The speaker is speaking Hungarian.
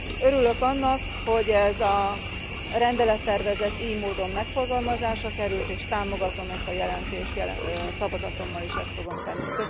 Örülök annak, hogy ez a rendelettervezet ily módon megfogalmazásra került, és támogatom ezt a jelentést, szavazatommal is ezt fogom tenni.